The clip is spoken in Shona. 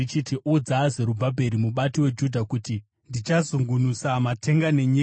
“Udza Zerubhabheri mubati weJudha kuti ndichazungunusa matenga nenyika.